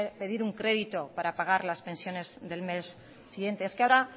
pedir un crédito para pagar las pensiones del mes siguiente es que ahora